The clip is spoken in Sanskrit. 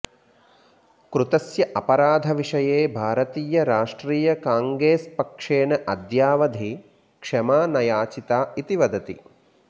कृतस्य अपराधविषये भारतीयराष्ट्रियकाङ्गेस्पक्षेण अद्यावधि क्षमा न याचिता इति वदति